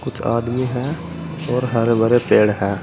आदमी है और हरे भरे पेड़ है।